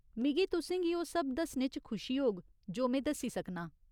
मिगी तुसें गी ओह् सब दस्सने च खुशी होग जो में दस्सी सकनां ।